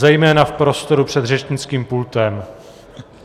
Zejména v prostoru před řečnickým pultem.